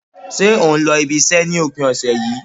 Ṣé o n lọ ibi iṣẹ́ ni opin ọ̀sẹ̀ yìí